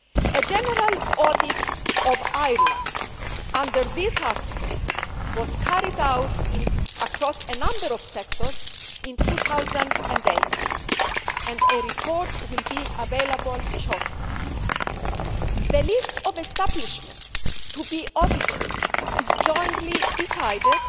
A general audit of Ireland under this article was carried out across a number of sectors in 2008 and a report will be available shortly. The list of establishments to be audited is jointly decided